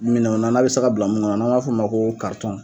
Minɛw na n'a bɛ sa ka bila mun kɔnɔ n'an b'a fɔ o ma ko karitɔnw